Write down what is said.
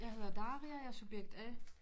Jeg hedder Daria jeg subjekt A